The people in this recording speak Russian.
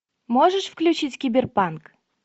можешь включить киберпанк